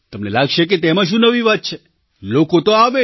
તમને લાગશે કે તેમાં શું નવી વાત છે લોકો તો આવે